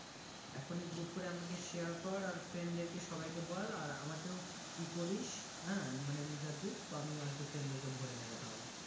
এখনই group করে আমাকে share কর আর friend দেরকে সবাইকে বল আর আমাকেও ইয়ে করিস হ্যাঁ মানে leader দিস তো আমিও আর কি friend দেরকে ভরে নেব তাহলে।